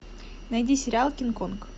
найди сериал кинг конг